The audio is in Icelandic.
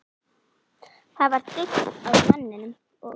Það var daunn af manninum, og